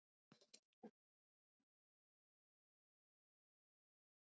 Uppbygging og nútímavæðing er allsráðandi í borgum.